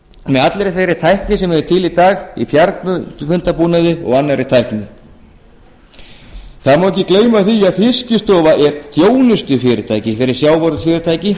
með allri þeirri tækni sem er til í dag í fjarskiptabúnaði og annarri tækni það má ekki gleyma því að fiskistofa er þjónustufyrirtæki fyrir